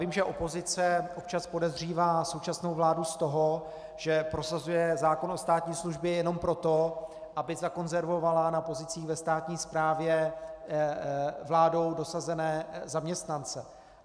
Vím, že opozice občas podezřívá současnou vládu z toho, že prosazuje zákon o státní službě jenom proto, aby zakonzervovala na pozicích ve státní správě vládou dosazené zaměstnance.